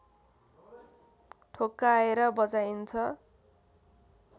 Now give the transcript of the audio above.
ठोक्काएर बजाइन्छ